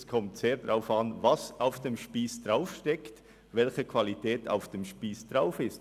Es kommt sehr darauf an, was und welche Qualität am Spiess steckt.